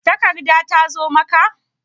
Takarda ta zo maka?